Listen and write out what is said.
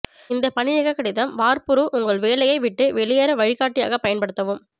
இந்த பணிநீக்க கடிதம் வார்ப்புரு உங்கள் வேலையை விட்டு வெளியேற வழிகாட்டியாக பயன்படுத்தவும்